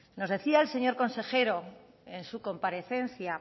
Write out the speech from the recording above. nos decía el señor consejero en su comparecencia